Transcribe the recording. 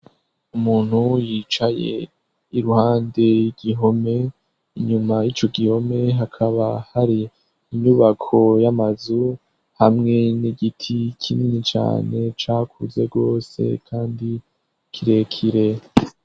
Umuntu yicaye iruhande y'igihome, inyuma y'ico gihome hakaba hari inyubako y'amazu hamwe n'igiti kinini cane cakuze rwose kandi kirekire.